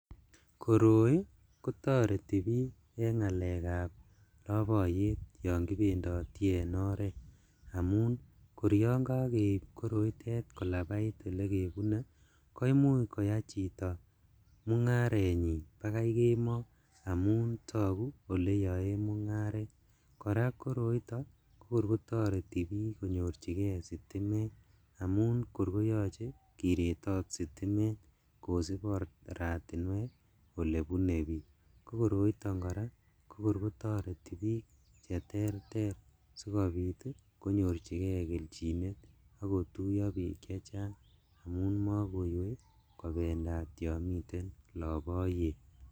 Koroi kotoreti bik en ngalèkab loboyet yon kibendoti en oret amun kor yon kokeib koroitet kolabait , koimuch koyai chito mungarenyin akoi kemooo amun togu oleyoen mungaret, koraa koroito ko kor kotoretibik konyorjigee sitimet , amun kor koyoche kiretot sitimet kosib oratinwek ole bune bik kokoroiton koraa kokor kotoreti bik cheterter sikobit konyorjigee keljinet oko tuyo bik chechang amun mokouwei kobendat yon miten loboyet.